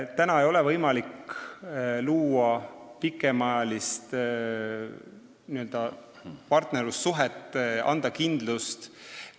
Praegu ei ole võimalik luua pikemaajalist partnerlussuhet ja anda kindlust.